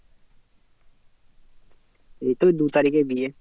এই তো দু তারিখে বিয়ে